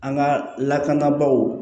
An ka lakanabaaw